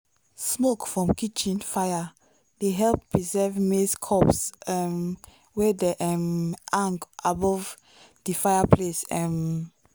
smoke from kitchen fire dey help preserve maize cobs um wey dem um hang above the fireplace. um